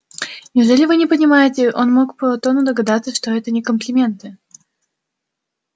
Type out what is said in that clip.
неужели вы не понимаете он мог по тону догадаться что это не комплименты